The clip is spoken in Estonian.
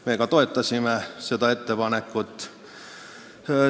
Me ka toetasime seda ettepanekut.